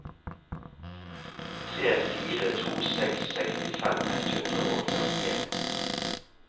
tre fire to seks sekstifem ett hundre og førtien